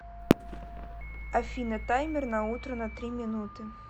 афина таймер на утро на три минуты